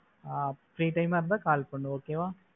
ஆஹ் free time ஆ இருந்தா call பண்ணு okay வா?